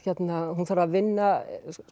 hún þarf að vinna